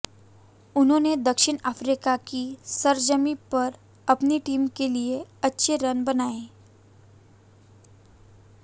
उन्होंने दक्षिण अफ्रीका की सरजमीं पर अपनी टीम के लिए अच्छे रन बनाए